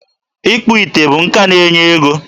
Ịkpụ ite bụ nka na-enye ego.